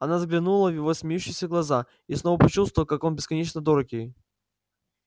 она взглянула в его смеющиеся глаза и снова почувствовала как он бесконечно дорог ей